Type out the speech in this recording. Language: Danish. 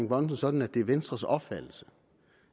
bonnesen sådan at det er venstres opfattelse